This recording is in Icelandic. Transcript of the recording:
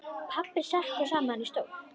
Pabbi sekkur saman í stól.